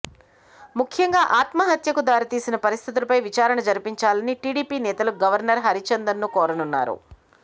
ముఖ్యంగా ఆత్మహత్యకు దారితీసిన పరిస్థితులపై విచారణ జరిపించాలని టిడిపి నేతలు గవర్నర్ హరిచందన్ ను కోరనున్నారు